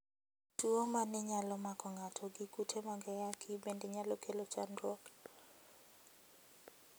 Tuwo ma ne nyalo mako ng'ato gi kute mag ayaki bende nyalo kelo chandruok.